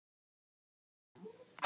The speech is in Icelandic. Ætlarðu að eignast fleiri börn?